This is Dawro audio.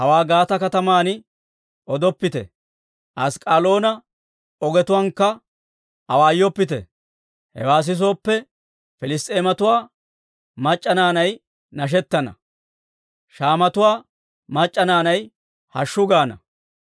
Hawaa Gaate kataman odoppite; Ask'k'aloona ogetuwaankka awaayoppite. Hewaa sisooppe, Piliss's'eematuwaa mac'c'a naanay nashettana; shaamatuwaa mac'c'a naanay ‹Hashshu gaana!›